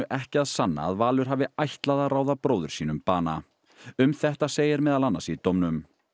ekki að sanna að Valur hafi ætlað að ráða bróður sínum bana um þetta segir meðal annars í dómnum